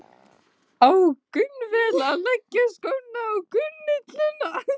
Á jafnvel að leggja skóna á hilluna?